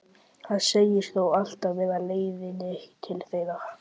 Hann segist þó alltaf vera á leiðinni til þeirra.